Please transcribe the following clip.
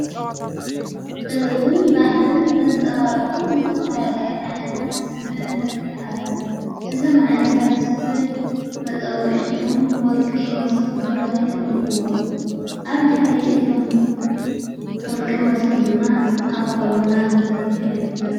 ጥበብን ባህልን ዘንጸባርዑ ዘተፋያለዮ ዓይነታት ሥብ ንርኢ ኣለና እዞም ዓይነታት ሥብ መጸዉዒ ሹሞም ወርቂ ሞሶብ ተብሂሎም ይጽውዑ ኣብ ድኅሪ ኢቶም ወርቂ ሞሶብ ድማ ኣቕሖቡና ተዘርግሒ ይረከብ::